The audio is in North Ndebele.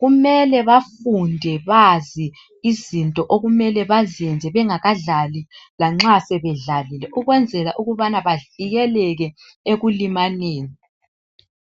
kumele bafunde bazi izinto okumele bazenze bengakadlali lanxa sebedlalile ukwenzela ukubana bavikeleke ekulimaleni.